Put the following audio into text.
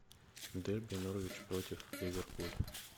дерби норвич против ливерпуль